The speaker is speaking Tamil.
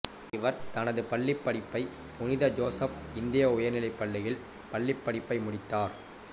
இவர் தனது பள்ளிப்படிப்பை புனித ஜோசப் இந்திய உயர்நிலைப் பள்ளியில் பள்ளிப்படிப்பை முடித்தார்